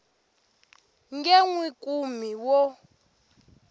nge n wi kumi wo